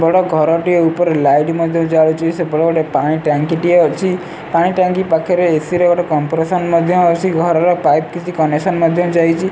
ବଡ଼ ଘର ଟିଏ ଉପରେ ଲାଇଟ ମଧ୍ୟ ଜାଳୁଚି ସେପଟେ ଗୋଟେ ପାଣି ଟାଙ୍କି ଟିଏ ଅଛି ପାଣି ଟାଙ୍କି ପାଖରେ ଏ_ସି ର ଗୋଟେ କଂପ୍ରେସନ ମଧ୍ୟ ଅଛି ଘର ର ପାଇପି କିଛି କନେକ୍ସନ୍ ମଧ୍ୟ ଯାଇଚି।